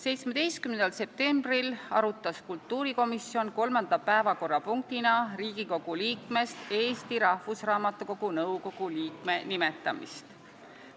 17. septembril arutas kultuurikomisjon kolmanda päevakorrapunktina Riigikogu liikmest Eesti Rahvusraamatukogu nõukogu liikme nimetamist.